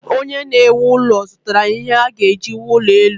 Onye na-ewu ụlọ zụtara ihe a ga-eji wuo ụlọ elu.